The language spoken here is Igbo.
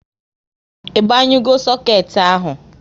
I banyugo soket ahụ?